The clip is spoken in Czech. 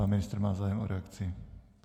Pan ministr má zájem o reakci?